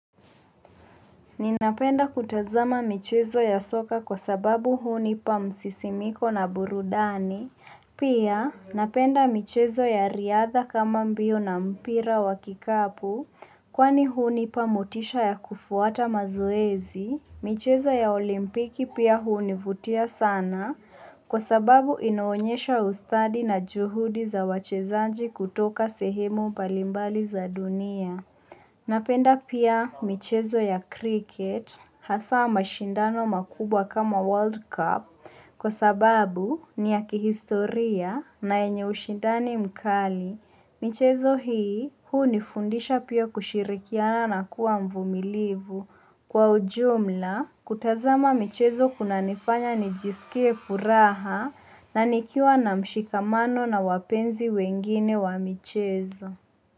Ninapenda kutazama michezo ya soka kwa sababu hunipa msisimiko na burudani, pia napenda michezo ya riadha kama mbio na mpira wa kikapu, kwani hunipa motisha ya kufuata mazoezi, michezo ya olimpiki pia hunivutia sana kwa sababu inaonyesha ustadi na juhudi za wachezaji kutoka sehemu mbalimbali za dunia. Napenda pia michezo ya cricket hasa mashindano makubwa kama World Cup kwa sababu ni ya kihistoria na yenye ushindani mkali. Michezo hii hunifundisha pia kushirikiana na kwa mvumilivu kwa ujumla kutazama michezo kuna nifanya nijisikie furaha. Na nikiwa na mshikamano na wapenzi wengine wa michezo.